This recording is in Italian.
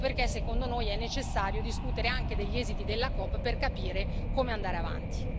Ecco perché, secondo noi, è necessario discutere anche degli esiti della COP per capire come andare avanti.